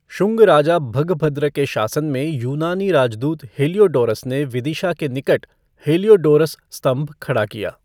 शुंग राजा भगभद्र के शासन में यूनानी राजदूत हेलियोडोरस ने विदिशा के निकट हेलियोडोरस स्तंभ खड़ा किया।